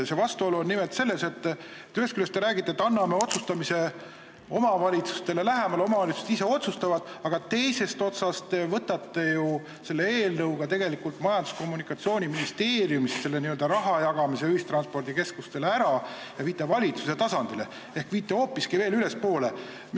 See vastuolu seisneb nimelt selles, et ühest küljest te räägite, et anname otsustamise omavalitsustele lähemale, las nad ise otsustavad, aga teisest küljest te tegelikult võtate ju selle eelnõuga ühistranspordikeskustele raha jagamise otsuste tegemise Majandus- ja Kommunikatsiooniministeeriumi alt ära ja viite valitsuse tasandile ehk hoopiski veel ülespoole.